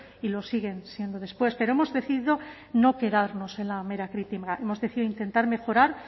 y lo siguen siendo después pero hemos decidido no quedarnos en la mera crítica hemos decidido intentar mejorar